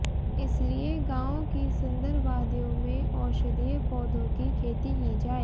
इसके लिए गाँवों की सुंदर वादियों में औषधीय पौधों की खेती की जाए